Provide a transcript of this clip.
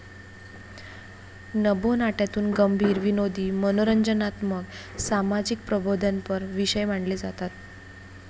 नभोनाट्यातून गंभीर, विनोदी, मनोरंजनात्मक, सामाजिक प्रबोधनपर विषय मांडले जातात.